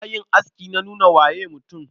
Yanayin aski na nuna waye mutum.